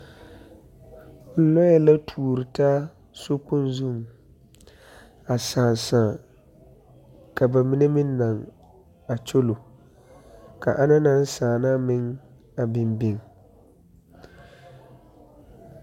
Lɔɛ la tuori taa sokpoŋ zuŋ a saa saa ka ba mine naŋ a kyolo ka ana na saa meŋ a biŋ biŋ.